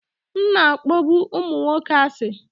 M na-akpọbu ụmụ nwoke asị